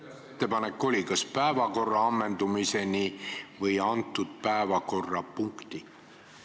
Kuidas ettepanek oli, kas päevakorra ammendumiseni või antud päevakorrapunkti ammendumiseni?